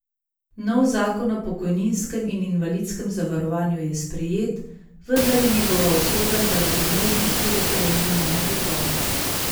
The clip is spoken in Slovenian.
Nov zakon o pokojninskem in invalidskem zavarovanju je sprejet, vendar je njegova usoda zaradi možnosti referenduma negotova.